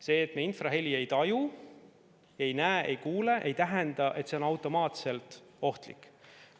See, et me infraheli ei taju, ei näe ega kuule, ei tähenda, et see on automaatselt ohtlik.